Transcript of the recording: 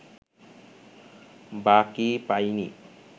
বা কী পাইনি